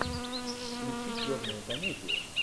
включи черную комедию